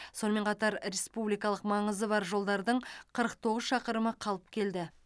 сонымен қатар республикалық маңызы бар жолдардың қырық тоғыз шақырымы қалыпқа келді